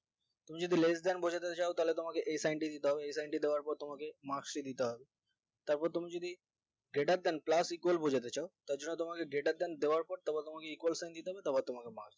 তুমি যদি less than বোঝাতে চাও তাহলে তোমাকে এই sign টি দিতে হবে এই sign টি দেওয়ার পর তোমাকে marks এ দিতে হবে তারপর তুমি যদি greater than plus equal বোঝাতে চাও তারজন্য তোমাকে greater than দেওয়ার পর তোমাকে equal দিতে হবে তারপর তোমাকে marks